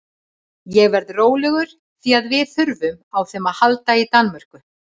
Ég verð rólegur því að við þurfum á þeim að halda í Danmörku.